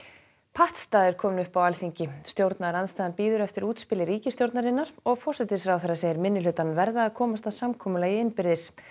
pattstaða er komin upp á Alþingi stjórnarandstaðan bíður eftir útspili ríkisstjórnarinnar og forsætisráðherra segir minnihlutann verða að komast að samkomulagi innbyrðis